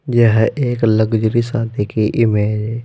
यह एक लग्जरी सादी की इमेज है।